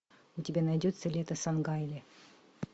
у тебя найдется лето сангайле